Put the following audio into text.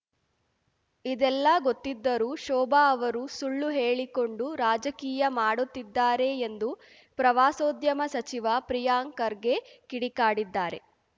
ಇದೆಲ್ಲಾ ಗೊತ್ತಿದ್ದರೂ ಶೋಭಾ ಅವರು ಸುಳ್ಳು ಹೇಳಿಕೊಂಡು ರಾಜಕೀಯ ಮಾಡುತ್ತಿದ್ದಾರೆ ಎಂದು ಪ್ರವಾಸೋದ್ಯಮ ಸಚಿವ ಪ್ರಿಯಾಂಕ್‌ ಖರ್ಗೆ ಕಿಡಿಕಾಡಿದ್ದಾರೆ